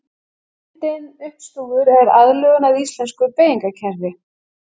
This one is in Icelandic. Myndin uppstúfur er aðlögun að íslensku beygingarkerfi.